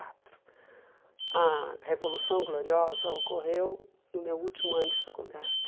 Quatro. A revolução gloriosa ocorreu no meu último ano de faculdade.